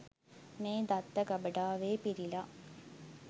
මේ දත්ත ගබඩාවේ පිරිලා.